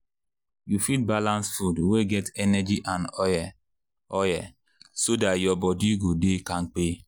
you fit balance food wey get energy and oil oil so dat your body go dey kampe.